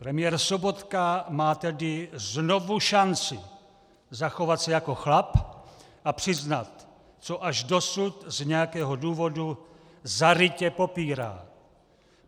Premiér Sobotka má tedy znovu šanci zachovat se jako chlap a přiznat, co až dosud z nějakého důvodu zarytě popírá.